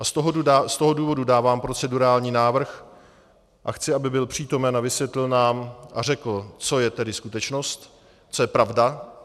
A z toho důvodu dávám procedurální návrh a chci, aby byl přítomen a vysvětlil nám a řekl, co je tedy skutečnost, co je pravda.